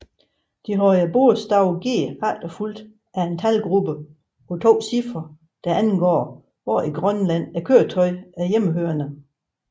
De havde bogstavet G efterfulgt af en talgruppe på to cifre der angav hvor i Grønland køretøjet er hjemmehørende